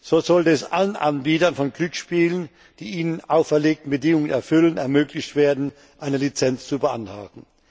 So sollte es allen Anbietern von Glücksspielen, die die ihnen auferlegten Bedingungen erfüllen, ermöglicht werden, eine Lizenz zu beantragen.